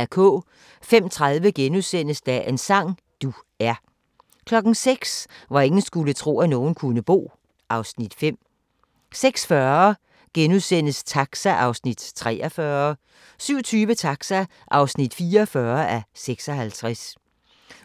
05:30: Dagens sang: Du er * 06:00: Hvor ingen skulle tro, at nogen kunne bo (Afs. 5) 06:40: Taxa (43:56)* 07:20: Taxa (44:56)